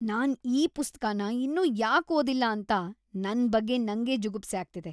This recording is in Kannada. ನಾನ್ ಈ ಪುಸ್ತಕನ ಇನ್ನೂ ಯಾಕ್ ಓದಿಲ್ಲ ಅಂತ ನನ್ ಬಗ್ಗೆ ನಂಗೇ ಜುಗುಪ್ಸೆ ಆಗ್ತಿದೆ.